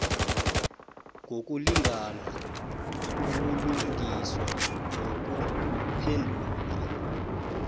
ngokulingana ubulungiswa nokuphendula